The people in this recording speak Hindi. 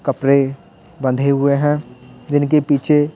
कपड़े बंधे हुए हैं इनके पीछे--